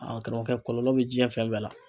Karamɔgɔkɛ kɔlɔlɔ be jiɲɛ fɛn bɛn la.